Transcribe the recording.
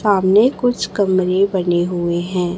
सामने कुछ कमरे बने हुए हैं।